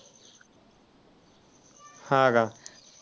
हां का.